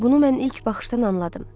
Bunu mən ilk baxışdan anladım.